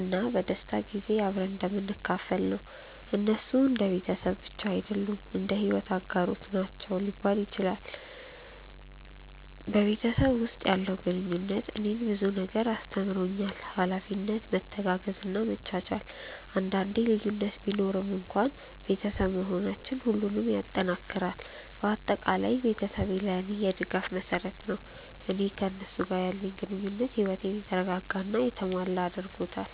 እና በደስታ ጊዜ አብረን እንደምንካፈል ነው። እነሱ እንደ ቤተሰብ ብቻ አይደሉም፣ እንደ የሕይወት አጋሮች ናቸው ሊባል ይችላል። በቤተሰብ ውስጥ ያለው ግንኙነት እኔን ብዙ ነገር አስተምሮኛል፤ ኃላፊነት፣ መተጋገዝ እና መቻቻል። አንዳንዴ ልዩነት ቢኖርም እንኳን ቤተሰብ መሆናችን ሁሉንም ይጠናክራል። በአጠቃላይ ቤተሰቤ ለእኔ የድጋፍ መሰረት ነው፣ እና ከእነሱ ጋር ያለኝ ግንኙነት ሕይወቴን የተረጋጋ እና የተሞላ ያደርገዋል።